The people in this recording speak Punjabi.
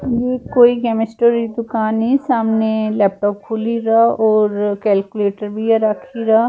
ਇੱਧਰ ਕੋਈ ਕਮਿਸਟਰੀ ਦੁਕਾਨ ਆ ਸਾਹਮਣੇ ਲੈਪਟੋਪ ਖੋਲ ਰਹੀ ਔਰ ਕੈਲਕੁਲੇਟਰ ਵੀ ਰੱਖੀ ਰਾ।